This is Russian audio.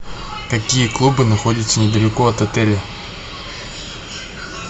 какие клубы находятся недалеко от отеля